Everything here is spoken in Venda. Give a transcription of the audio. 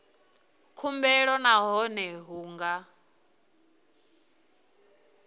khumbelo nahone a hu nga